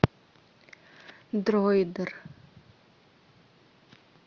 дроидер